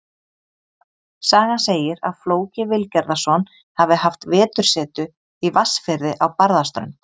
Sagan segir að Flóki Vilgerðarson hafi haft vetursetu í Vatnsfirði á Barðaströnd.